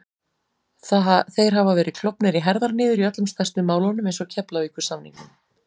Þeir hafa verið klofnir í herðar niður í öllum stærstu málunum eins og Keflavíkursamningnum